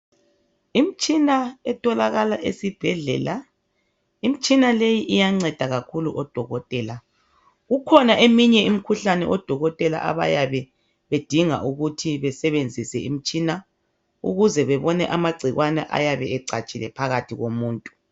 Imtshina etholakala esibhedlela imitshina leyi iyangceda kakhulu odokotela kukhona eminye imikhuhlane odoketela abayabe bedinga ukuthi besebenzise imitshina ukuze bebone amangcikwane ayabe ecatshile phakathi komuntu